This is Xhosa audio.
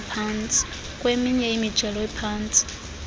kweminye imijelo ephantsi